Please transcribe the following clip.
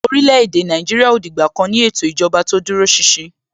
orílè-èdè Nàìjíríà ò dìgbà kan ní ètò ìjọba tó dúró ṣinṣin.